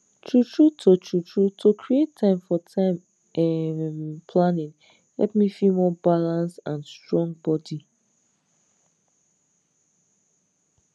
truetrue to truetrue to create time for time um planning help me feel more balanced and strong body